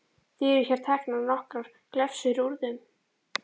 Því eru hér teknar nokkrar glefsur úr þeim